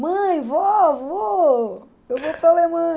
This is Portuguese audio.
Mãe, vó, vô, eu vou para a